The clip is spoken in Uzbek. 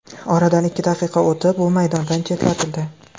Oradan ikki daqiqa o‘tib, u maydondan chetlatildi.